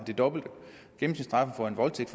det dobbelte gennemsnitsstraffen for en voldtægt